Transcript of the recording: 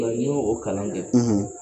n Y'o kalan kɛ,